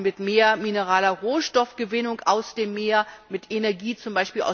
auch mit mehr mineraler Rohstoffgewinnung aus dem Meer, mit Energie z.